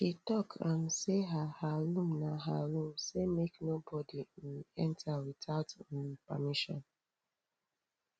she tok um sey her her room na her room sey make nobodi um enta witout um permission